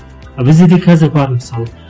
а бізде де қазір бар мысалы